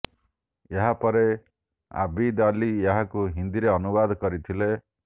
ଏହା ପରେ ଆବିଦ୍ ଅଲି ଏହାକୁ ହିନ୍ଦୀରେ ଅନୁବାଦ କରିଥିଲେ